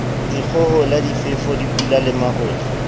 dikgohola difefo dipula le marole